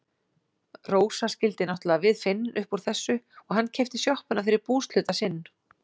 Rósa skildi náttúrlega við Finn upp úr þessu og hann keypti sjoppuna fyrir búshluta sinn.